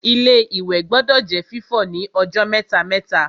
Ilé-ìwẹ̀ gbọdọ̀ jẹ́ fífọ̀ ní ọjọ́ mẹ́ta-mẹ́ta